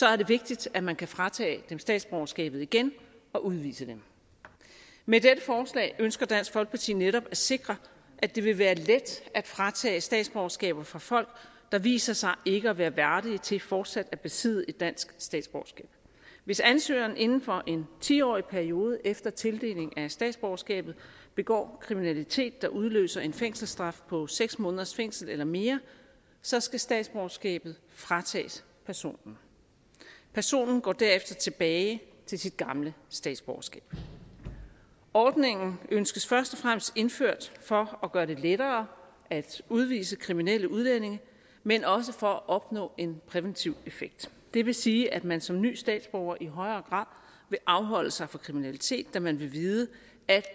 er det vigtigt at man kan fratage dem statsborgerskabet igen og udvise dem med dette forslag ønsker dansk folkeparti netop at sikre at det vil være let at fratage statsborgerskaber fra folk der viser sig ikke at være værdige til fortsat at besidde et dansk statsborgerskab hvis ansøgeren inden for en ti årig periode efter tildeling af statsborgerskabet begår kriminalitet der udløser en fængselsstraf på seks måneders fængsel eller mere så skal statsborgerskabet fratages personen personen går derefter tilbage til sit gamle statsborgerskab ordningen ønskes først og fremmest indført for at gøre det lettere at udvise kriminelle udlændinge men også for at opnå en præventiv effekt det vil sige at man som ny statsborger i højere grad vil afholde sig fra kriminalitet da man vil vide at